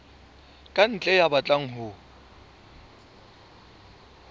ka ntle ya batlang ho